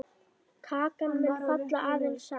Kakan mun falla aðeins saman.